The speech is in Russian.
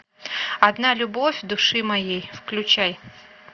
одна любовь души моей включай